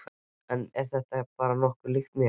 Er þetta ekki bara nokkuð líkt mér?